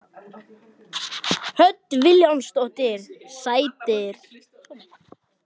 Hödd Vilhjálmsdóttir: Sætir?